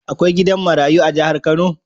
Akwai gidan marayu a jahar kano?